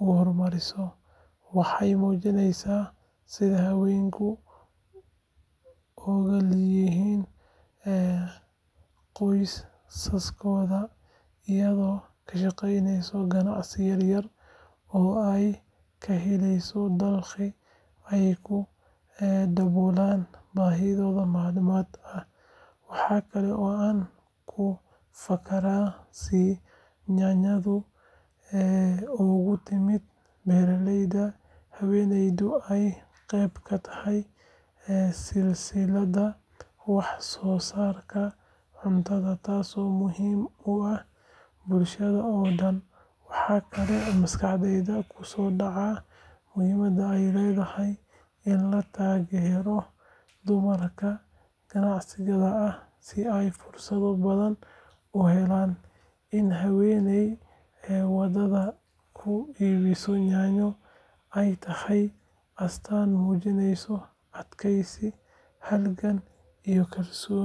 u horumariso. Waxay muujinaysaa sida haweenku ugaalinayaan qoysaskooda, iyagoo ka shaqeynaya ganacsiyo yar yar oo ay ka helaan dakhli ay ku daboolaan baahiyaha maalinlaha ah. Waxa kale oo aan ku fakarayaa sida yaanyadu uga timid beeraleyda, haweeneyduna ay qayb ka tahay silsiladda wax soo saarka cuntada, taasoo muhiim u ah bulshada oo dhan. Waxaa kaloo maskaxdayda ku soo dhacda muhiimadda ay leedahay in la taageero dumarka ganacsatada ah si ay fursado badan u helaan. In haweeney waddada ku iibinaysa yaanyo ay tahay astaan muujinaysa adkeysi, halgan iyo kalsooni.